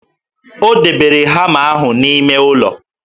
O debere hama ahụ n'ime ụlọ